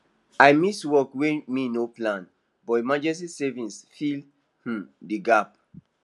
i miss work way me no plan but emergency savings fill um the gap